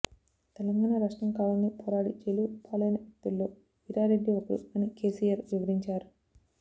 తెలంగాణ రాష్ట్రం కావాలని పోరాడి జైలుపాలైన వ్యక్తుల్లో వీరారెడ్డి ఒకరు అని కేసీఆర్ వివరించారు